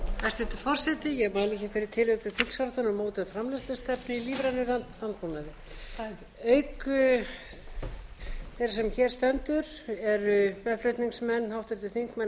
tillögu til þingsályktunar um mótun framleiðslustefnu í lífrænum landbúnaði auk þeirrar sem hér stendur eru meðflutningsmenn háttvirtir þingmenn